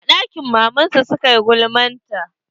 A ɗakin maman su suka yi gulma ta.